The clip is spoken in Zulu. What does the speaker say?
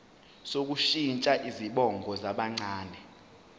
sokushintsha izibongo zabancane